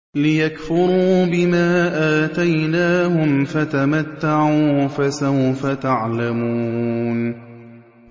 لِيَكْفُرُوا بِمَا آتَيْنَاهُمْ ۚ فَتَمَتَّعُوا ۖ فَسَوْفَ تَعْلَمُونَ